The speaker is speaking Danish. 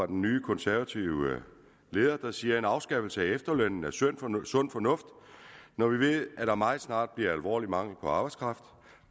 den nye konservative leder der siger en afskaffelse af efterlønnen er sund fornuft sund fornuft når vi ved der meget snart bliver alvorlig mangel på arbejdskraft